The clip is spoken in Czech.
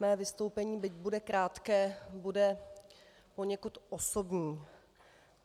Mé vystoupení, byť bude krátké, bude poněkud osobní.